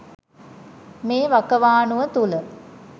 මේ වකවානුව තුළ